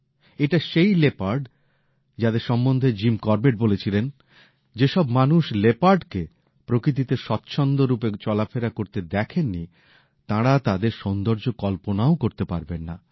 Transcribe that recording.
এটা সেই লেপার্ড যাদের সম্বন্ধে জিম করবেট বলেছিলেন যেসব মানুষ লেপার্ডকে প্রকৃতিতে স্বচ্ছন্দ রূপে চলাফেরা করতে দেখেননি তাঁরা তাদের সৌন্দর্য কল্পনাও করতে পারবেন না